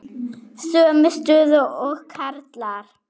Sömu stöðu og karlar.